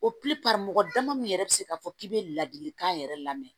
mɔgɔ dama min yɛrɛ bɛ se k'a fɔ k'i bɛ ladilikan yɛrɛ lamɛn